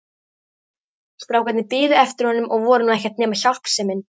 Strákarnir biðu eftir honum og voru nú ekkert nema hjálpsemin.